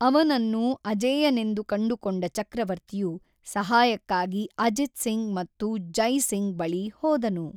ಅವನನ್ನು ಅಜೇಯನೆಂದು ಕಂಡುಕೊಂಡ ಚಕ್ರವರ್ತಿಯು ಸಹಾಯಕ್ಕಾಗಿ ಅಜಿತ್ ಸಿಂಗ್ ಮತ್ತು ಜೈ ಸಿಂಗ್ ಬಳಿ ಹೋದನು.